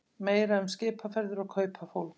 Meira um skipaferðir og kaupafólk